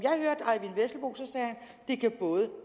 jeg kan både